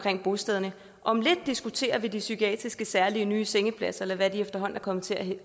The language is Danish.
bostederne om lidt diskuterer vi de psykiatriske særlige nye sengepladser eller hvad de efterhånden er kommet til at